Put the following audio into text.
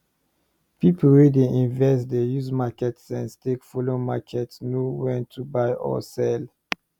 people wey dey invest dey use market sense take follow market know when to buy or sell